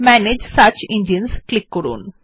manage search engines click করুন